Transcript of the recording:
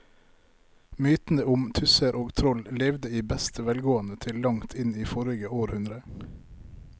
Mytene om tusser og troll levde i beste velgående til langt inn i forrige århundre.